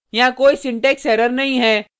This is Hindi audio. यहाँ कोई सिंटेक्स एरर नहीं है